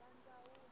a ya nga ri na